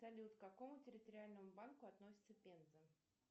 салют к какому территориальному банку относится пенза